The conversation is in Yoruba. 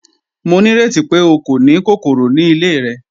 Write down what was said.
Mo ní rẹti pe o kò ni kòkòrò ni ilẹ̀ rẹ?